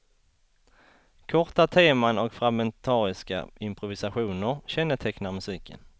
Korta teman och fragmentariska improvisationer kännetecknar musiken.